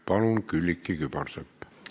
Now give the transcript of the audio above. Palun, Külliki Kübarsepp!